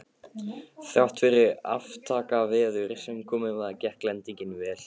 Þrátt fyrir aftakaveður sem komið var, gekk lendingin vel.